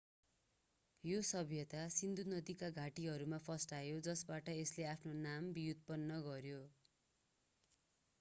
यो सभ्यता सिन्धु नदीका घाटीहरूमा फस्टायो जसबाट यसले आफ्नो नाम व्युत्पन्न गर्‍यो।